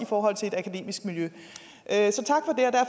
forhold til et akademisk miljø